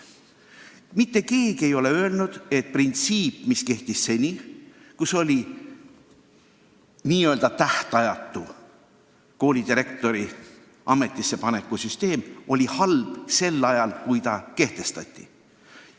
Mitte keegi ei ole öelnud, et printsiip, mis kehtis seni – s.o koolidirektorite tähtajatu ametisse panek – oli halb sel ajal, kui see kehtestati.